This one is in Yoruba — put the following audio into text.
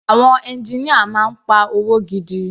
Àwọn engineer máa ń pa owó gidi.